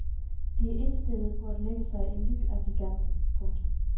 De er indstillede på at lægge sig i ly af giganten. punktum